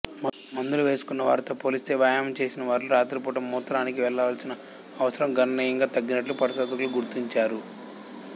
మందులు వేసుకున్నవారితో పోలిస్తే వ్యాయామం చేసినవారిలో రాత్రిపూట మూత్రానికి వెళ్లాల్సిన అవసరం గణనీయంగా తగ్గినట్టు పరిశోధకులు గుర్తించారు